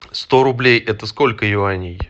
сто рублей это сколько юаней